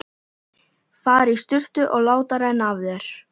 Fara í sturtu og láta renna af þér.